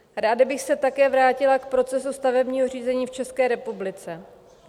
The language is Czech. Ráda bych se také vrátila k procesu stavebního řízení v České republice.